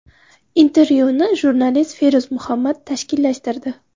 Intervyuni jurnalist Feruz Muhammad tashkillashtirdi.